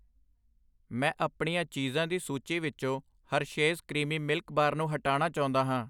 ਮੈਂ ਆਪਣੀਆਂ ਚੀਜ਼ਾਂ ਦੀ ਸੂਚੀ ਵਿੱਚੋ ਹਰਸ਼ੇਸ ਕਰੀਮੀ ਦੁੱਧ ਬਾਰ ਨੂੰ ਹਟਾਨਾ ਚਾਹੁੰਦਾ ਹਾਂ I